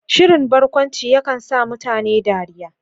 Shirin barkwanci yakan sa mutane dariya.